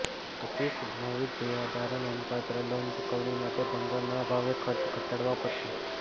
પછી સંભવિત દેવાદારો નોંધપાત્ર લોન ચુકવણી માટે ભંડોળના અભાવે ખર્ચ ઘટાડવા પડશે